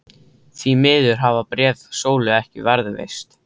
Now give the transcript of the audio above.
Því miður hafa bréf Sólu ekki varðveist.